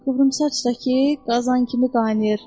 Qıvrımsaçsa ki, qazan kimi qaynayır.